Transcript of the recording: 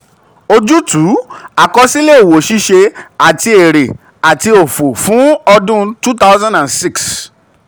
ojútùú: àkọsílẹ̀ òwò um ṣíṣe àti èrè àti òfò fún ọdún two thousand and six